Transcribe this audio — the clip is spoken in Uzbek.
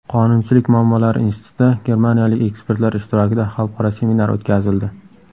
Qonunchilik muammolari institutida germaniyalik ekspertlar ishtirokida xalqaro seminar o‘tkazildi.